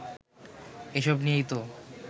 এসব নিয়েই তো